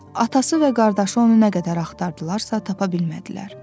Atası və qardaşı onu nə qədər axtardılarsa tapa bilmədilər.